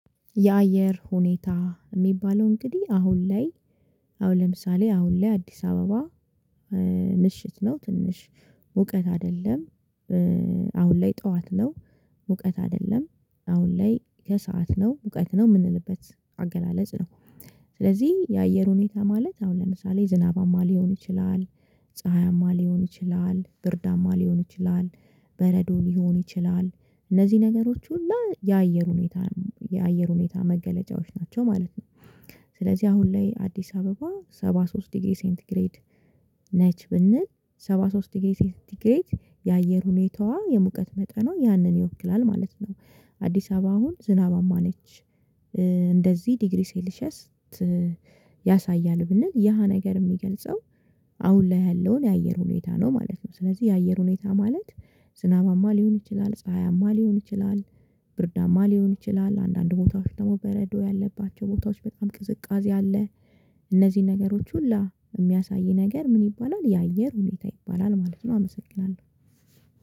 የአየር ሁኔታ የሚባለው እንግዲህ አሁን ላይ አሁን ለምሳሌ አሁን ላይ አዲስ አበባ ምሽት ላይ ትንሽ ሙቀት አይደለም አሁን ላይ ጠዋት ነው ሙቀት አይደለም አሁን ላይ ከሰአት ነው ሙቀት ነው የምንልበት አገላለጽ ነው። ስለዚህ የአየር ሁኔታ ማለት አሁን ለምሳሌ ዝናባማ ሊሆን ይችላል ፀሀያማ ሊሆን ይችላል ብርዳማ ሊሆን ይችላል በረዶ ሊሆን ይችላል እነዚህ ነገሮች ሁሉ የአየር ሁኔታ የአየር ሁኔታ መገለጫዎች ናቸው ማለት ነው። ስለዚህ አሁን ላይ አዲስ አበባ ሰባ ሶስት ዲግሪ ሴንቲግሬድ ነች ብንል ሰባ ሶስት ዲግሪ ሴንቲግሬድ የአየር ሁኔታዋ የሙቀት መጠኗ ያንን ይወክላል ማለት ነው። አዲስ አበባ አሁን ዝናባማ ነች። እንደዚህ ዲግሪ ሴልሺየስ ያሳያል ብንል ያ ነገር የሚገልጸው አሁን ላይ ያለውን የአየር ሁኔታ ነው ማለት ነው። ስለዚህ የአየር ሁኔታ ማለት ዝናባማ ሊሆን ይችላል ፀሀያማ ሊሆን ይችላል ብርዳማ ሊሆን ይችላል አንዳንድ ቦታዎች ደግሞ በረዶ ያለባቸው ቦታዎች በጣም ቅዝቃዜ አለ። እነዚህን ነገሮች ሁላ የሚያሳይ ነገር ምን ይባላል? የአየር ሁኔታ ይባላል ማለት ነው አመሰግናለሁ።